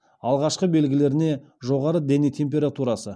алғашқы белгілеріне жоғары дене температурасы